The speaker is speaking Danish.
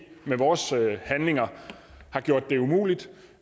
med vores handlinger har gjort det umuligt